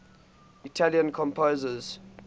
italian composers